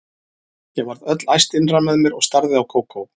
Ég varð öll æst innra með mér og starði á Kókó.